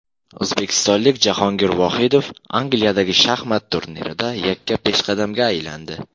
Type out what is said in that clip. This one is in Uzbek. O‘zbekistonlik Jahongir Vohidov Angliyadagi shaxmat turnirida yakka peshqadamga aylandi.